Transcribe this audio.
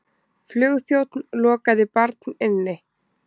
Flugþjónn lokaði barn inni